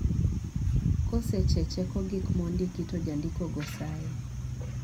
kosechecheko gik mondiki to jandiko go sayi